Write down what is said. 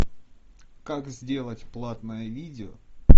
как сделать платное видео